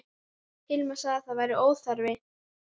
Hilmar sagði að það væri óþarfi.